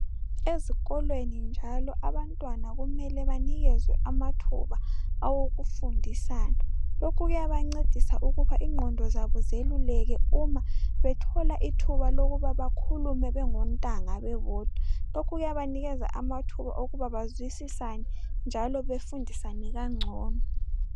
Ezikolweni njalo abantwana kumele banikezwe amathuba awokufundisana lokhu kuyabancedisa ukuba ingqondo zabo zeluleke uma bethola ithuba lokuba bakhulume bengontanga bebodwa lokhu kuyabanikeza amathuba okuthi bazwisisane njalo befundisane kangcono.